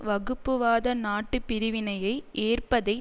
வகுப்புவாத நாட்டுப் பிரிவினையை ஏற்பதை